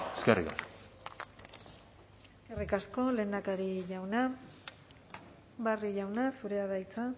eskerrik asko eskerrik asko lehendakari jauna barrio jauna zurea da hitza